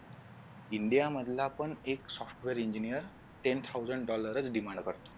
India मधला पण एक software engineer ten thousand dollar च demand करतो